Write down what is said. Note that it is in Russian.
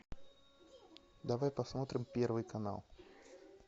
давай посмотрим первый канал